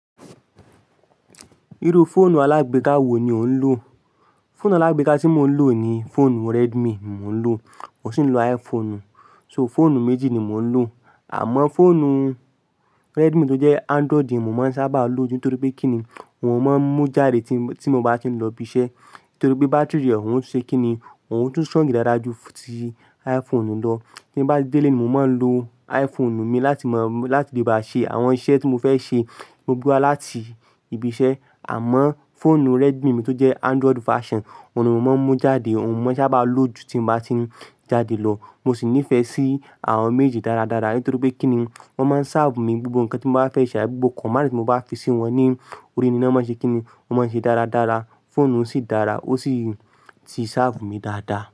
Irú fóònù alágbeka wo ni ò ń lò? Fóònù alágbáka tí mò ń lò ni fóònù Redmi mo ń lò, mo sì ń lo iPhone. So fóònù méjì ni mò ń lò. Àmọ́ fóònù Redmi tó jẹ́ Android ni mo máa ń sábà lò ju, nitorí pé kínni, òun máa ń mú jáde tí mo bá ti ń lọ ibi iṣẹ́. Nítorí pé bátírì rẹ̀ òun ṣe kínni, òun tún strong dáadáa ju ti iPhone lọ. Tí n bá délé ni, mo máa ń lo iPhone mi láti máa, láti lè bá ṣe àwọn iṣẹ́ tí mo fẹ́ ṣe ló gbó láti ibi iṣẹ́. Àmọ́ fóònù Redmi mi tó jẹ́ Android version, òun ni mo máa ń mú jáde, òun ni mo sábà lò ju tí mo bá ti ń jáde lọ. Mo sì nífẹ̀ẹ́ sí àwọn méjì dáradára, nítorí pé kínni, wọ́n máa ń sáàfù mi gbogbo nǹkan tí mo bá fẹ́ ṣe àbí gbogbo command tí mo bá fi sí wọn ní orí ni, wọ́n mọ n se kínni, wọ́n máa ṣe é dáradára. Fóònù sì dára, ó sì ti sáàfù mi dáadáa.